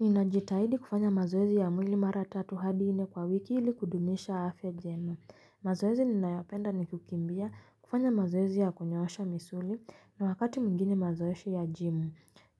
Ninajitahidi kufanya mazoezi ya mwili mara tatu hadi nne kwa wiki ili kudumisha afya njema. Mazoezi ninayopenda ni kukimbia kufanya mazoezi ya kunyoosha misuli na wakati mwingine mazoesha ya gym.